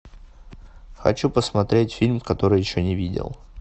хочу посмотреть фильм который еще не видел